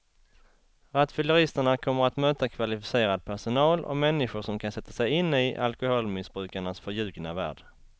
Rattfylleristerna kommer att möta kvalificerad personal och människor som kan sätta sig in i alkoholmissbrukarnas förljugna värld.